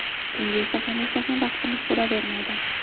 Bunga esa hamisha ham vaqtimiz bo‘lavermaydi.